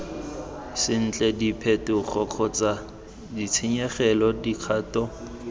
sentle diphetogo kgotsa ditshenyegelo dikgato